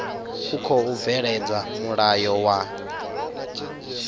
u khou bveledza mulayo wa